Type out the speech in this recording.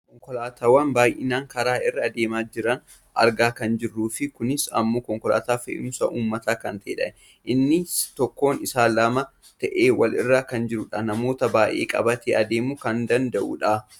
konkolaattota baayyinaan karaa irra deemaa jiran argaa kan jirruufi kunis ammoo konkolaataa fe'umsa uummataa kan ta'edha. innis tokkoon isaa lama ta'ee walirra kan jirudhafi namoota baayyee qabatee deemuu kan danda'udha.